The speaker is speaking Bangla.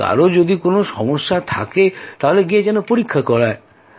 কারও যদি কোনো সমস্যা থেকে থাকে তাহলে গিয়ে যেন পরীক্ষা করায়